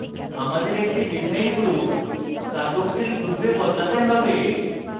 আমাদের একটি methyl group carboxyl গ্রুপে বদলাতে have